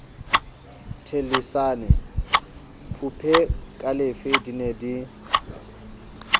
thellisane phupekalefe di ne di